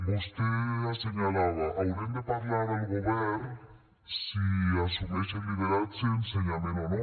vostè assenyalava haurem de parlar al govern si assumeix el lideratge ensenyament o no